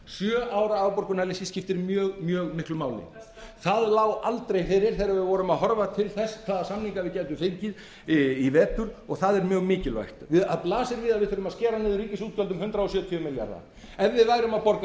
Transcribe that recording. sjö ára afborgun skiptir mjög miklu máli það lá aldrei fyrir þegar við vorum að horfa til þess hvaða samninga við gætum fengið í vetur og það er mjög mikilvægt það blasir við að við þurfum að skera niður ríkisútgjöld um hundrað sjötíu milljarða ef við værum að borga